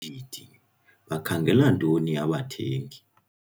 ODIDI - BAKHANGELA NTONI ABATHENGI?